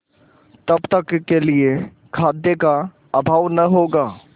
तब तक के लिए खाद्य का अभाव न होगा